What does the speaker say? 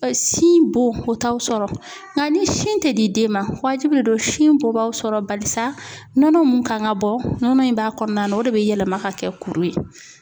Sin bon o t'aw sɔrɔ nka ni sin tɛ di den ma waajibi de don sin bon b'aw sɔrɔ balisa nɔnɔ mun kan ka bɔ nɔnɔ in b'a kɔnɔna na o de bɛ yɛlɛma ka kɛ kuru ye.